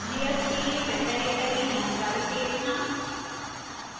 layers के लिए metadata की जानकारी देखना